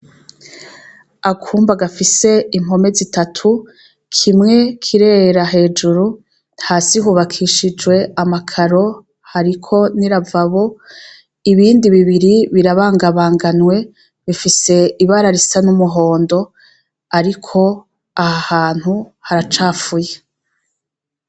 Akumba gafise impome zitatu, kimwe kirera hejuru, hasi hubakishijwe amakaro, hariko n'iravabo. Ibindi bibiri birabangabanganwe, bifise ibara risa n'umuhondo, ariko aha hantu haracafuye.